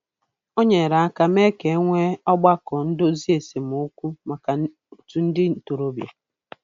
O nyere aka mee ka e nwee ọgbakọ ndozi esemokwu maka otu ndị ntorobịa.